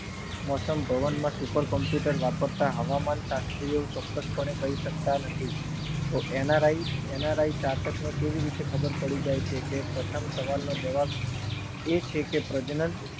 મોસમ ભવનના super computer વપરાતા હવામાન શાસ્ત્રીઓ ચોક્કસ પણે કહી સકતા નથી. એનારાઈ ચાતકને કેવી રીતે ખબર પડી જાય છે કે પ્રથમ સવાલનો જવાબ એ છે કે પ્રજનન